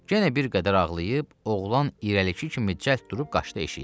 genə bir qədər ağlayıb, oğlan irəlikki kimi cəld durub qaçdı eşiyə.